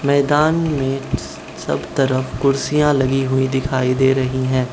मैदान में सब तरफ कुर्सियां लगी हुई दिखाई दे रही हैं।